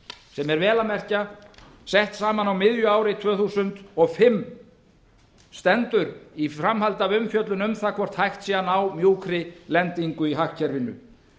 sem er vel að merkja sett fram miðju ári tvö þúsund og fimm stendur í framhaldi af umfjöllun um það hvort hægt sé að ná mjúkri lendingu í hagkerfinu